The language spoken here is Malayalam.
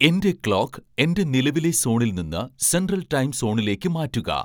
എന്റെ ക്ലോക്ക് എന്റെ നിലവിലെ സോണിൽ നിന്ന് സെൻട്രൽ ടൈം സോണിലേക്ക് മാറ്റുക